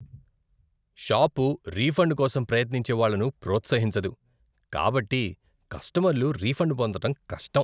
Shop refund కోసం ప్రయత్నించే వాళ్ళను ప్రోత్సహించదు కాబట్టి కస్టమర్లు రిఫండ్ పొందడం కష్టం.